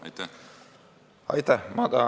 Aitäh!